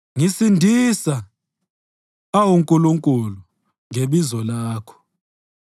Ngisindisa, awu Nkulunkulu, ngebizo lakho; ngigeza ecaleni ngamandla akho.